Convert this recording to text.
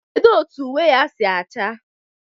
Kedu otu uwe ha si acha?